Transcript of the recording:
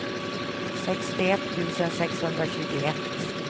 sextioett tusen sexhundratjugoett